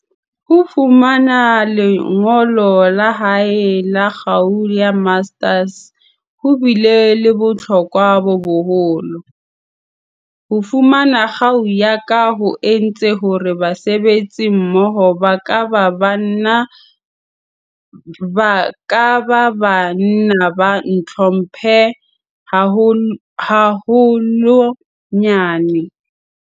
Ho fumana lengolo la hae la kgau ya Master's ho bile le bohlokwa bo boholo. "Ho fu mana kgau ya ka ho entse hore basebetsimmoho ba ka ba ba nna ba ntlhomphe haholwa nyane."